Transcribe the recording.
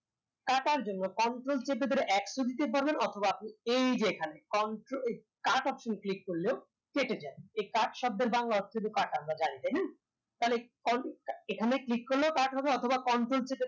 কাটার জন্য control চেপে ধরে x ও দিতে পারবেন অথবা আপনি এই যে এখানে cut option click করলেও কেটে যাবে এই cut শব্দের বাংলা অর্থ হলো কাটা আমরা জানি তাইনা তাইলে এখানে click করলেও cut হবে অথবা control চেপে